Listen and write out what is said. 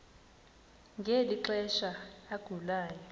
ngeli xesha agulayo